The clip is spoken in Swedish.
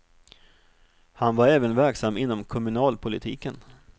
Han var även verksam inom kommunalpolitiken.